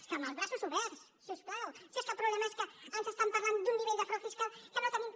és que amb els braços oberts si us plau si és que el problema és que ens estan parlant d’un nivell de frau fiscal que no tenim